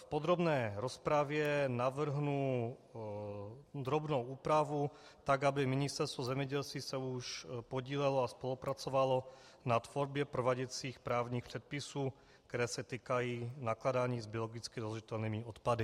V podrobné rozpravě navrhnu drobnou úpravu tak, aby Ministerstvo zemědělství se už podílelo a spolupracovalo na tvorbě prováděcích právních předpisů, které se týkají nakládání s biologicky rozložitelnými odpady.